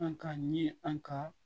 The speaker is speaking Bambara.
An ka ɲini an ka